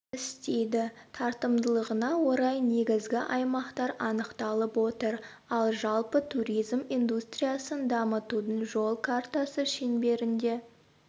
істейді тартымдылығына орай негізгі аймақтар анықталып отыр ал жалпы туризм индустриясын дамытудың жол картасы шеңберінде